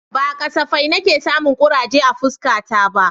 Ba kasafai nake samun kuraje a fuskata ba